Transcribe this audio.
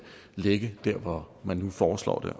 ligge der hvor man nu foreslår det